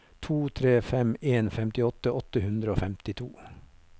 to tre fem en femtiåtte åtte hundre og femtito